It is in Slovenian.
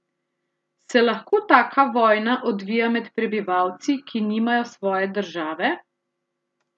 Se lahko taka vojna odvija med prebivalci, ki nimajo svoje države?